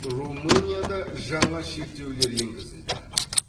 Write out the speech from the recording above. румынияда жаңа шектеулер енгізілді